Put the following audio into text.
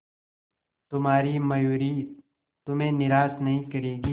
तुम्हारी मयूरी तुम्हें निराश नहीं करेगी